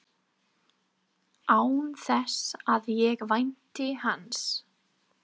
Án þess að ég vænti hans.